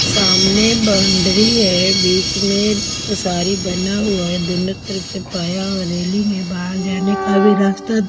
सामने बाउंड्री है बीच में उसारी बना हुआ है दोनों तरफ से पाया और रेलिंग है बाहर जाने का भी रास्ता--